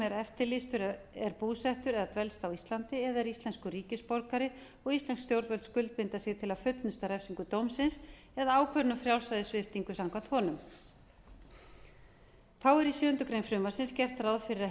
er eftirlýstur er búsettur eða dvelst á íslandi eða er íslenskur ríkisborgari og íslensk stjórnvöld skuldbinda sig til að fullnusta refsingu dómsins eða ákvörðun um frjálsræðissviptingu samkvæmt honum þá er í sjöundu greinar frumvarpsins gert ráð fyrir að